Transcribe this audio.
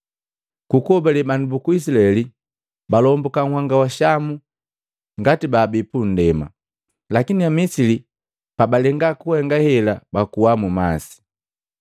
Ku kuhobale bandu buku Izilaeli balombuka nhanga wa Shamu ngati babii pundema; lakini Amisili pa balenga kuhenga hela bakuwa mu masi.